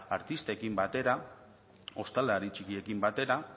artistekin batera ostalari txikiekin batera